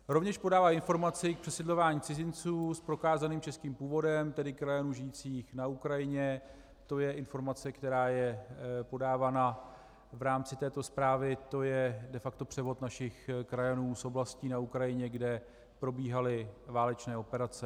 Rovněž podává informaci k přesídlování cizinců s prokázaným českým původem, tedy krajanů žijících na Ukrajině, to je informace, která je podávána v rámci této zprávy, to je de facto převod našich krajanů z oblastí na Ukrajině, kde probíhaly válečné operace.